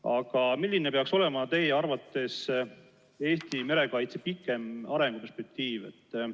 Aga milline peaks olema teie arvates Eesti merekaitse pikem arenguperspektiiv?